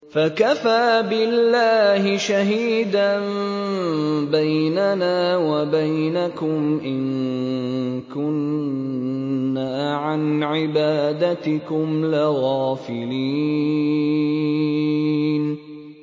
فَكَفَىٰ بِاللَّهِ شَهِيدًا بَيْنَنَا وَبَيْنَكُمْ إِن كُنَّا عَنْ عِبَادَتِكُمْ لَغَافِلِينَ